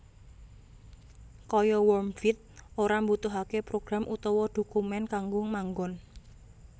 Kaya worm wbbit ora mbutuhaké program utawa dhokumèn kanggo manggon